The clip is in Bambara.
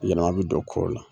Yɛlɛma bi don kow la.